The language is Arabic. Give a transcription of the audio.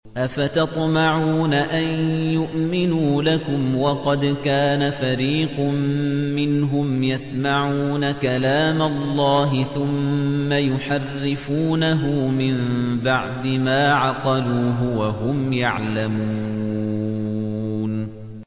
۞ أَفَتَطْمَعُونَ أَن يُؤْمِنُوا لَكُمْ وَقَدْ كَانَ فَرِيقٌ مِّنْهُمْ يَسْمَعُونَ كَلَامَ اللَّهِ ثُمَّ يُحَرِّفُونَهُ مِن بَعْدِ مَا عَقَلُوهُ وَهُمْ يَعْلَمُونَ